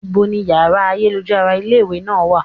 Ní bo ni yàrá ayélujára ilé ìwé náà wà?